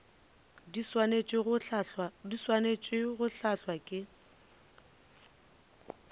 di swanetše go hlahlwa ke